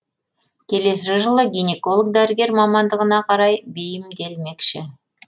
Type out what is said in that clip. келесі жылы гинеколог дәрігер мамандығына қарай бейімделмекші